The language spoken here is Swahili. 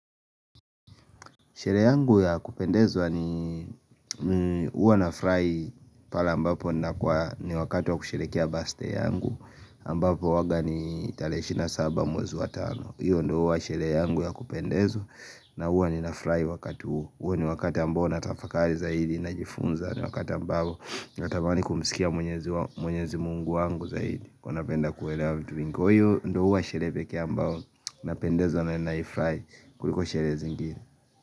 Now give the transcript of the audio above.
Sherehe yangu ya kupendezwa ni uwa na furahi pale ambapo ni wakati wa kusherekea baste yangu ambapo uwaga ni 27 mwezi wa tano hiyo ndo uwa sherehe yangu ya kupendezwa na uwa ni nafurahi wakati huo huo ni wakati ambao natafakari zaidi na jifunza ni wakati ambao natamani kumisikia mwenyezi mungu wangu zaidi Kwa napenda kuelewa vitu vingi kwa hivo uwa sherehe kia ambao Napendezwa na nafurahia kuliko sherehe zingine.